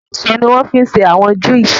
Èso ní wọ́n fí n ṣé àwọn juices